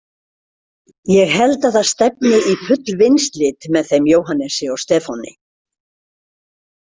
Ég held að það stefni í full vinslit með þeim Jóhannesi og Stefáni.